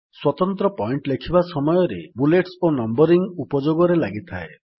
ସ୍ୱତନ୍ତ୍ର ପଏଣ୍ଟ୍ ଲେଖିବା ସମୟରେ ବୁଲେଟ୍ସ ଓ ନମ୍ୱରିଙ୍ଗ୍ ଉପଯୋଗରେ ଲାଗିଥାଏ